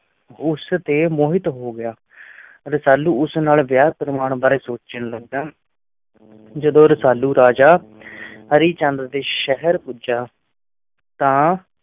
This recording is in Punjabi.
ਉਸ ਤੇ ਮੋਹਿਤ ਹੋ ਗਿਆ ਰਸਾਲੂ ਉਸ ਨਾਲ ਵਿਆਹ ਕਰਵਾਉਣ ਬਾਰੇ ਸੋਚਣ ਲੱਗਾ ਜਦੋਂ ਰਸਾਲੂ ਰਾਜਾ ਹਰੀ ਚੰਦ ਦੇ ਸ਼ਹਿਰ ਪੁੱਜਾ ਤਾਂ